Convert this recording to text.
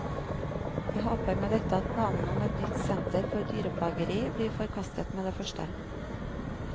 Jeg håper med dette at planene om et nytt senter for dyreplageri blir forkastet med det første.